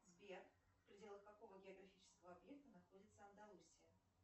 сбер в пределах какого географического объекта находится андалусия